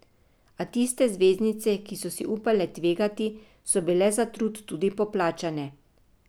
A tiste zvezdnice, ki so si upale tvegati, so bile za trud tudi poplačane.